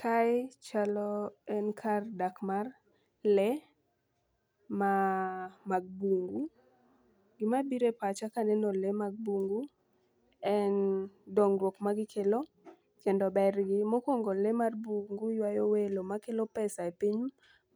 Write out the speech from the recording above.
Kae chalo en kar dak mar lee ma mag bungu. Gimabire pacha kaneno lee mag bungu en dongruok ma gikelo kendo ber gi .Mokwongo lee mag bungu ywayo welo makelo pesa e piny